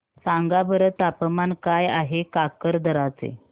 सांगा बरं तापमान काय आहे काकरदरा चे